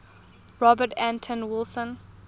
robert anton wilson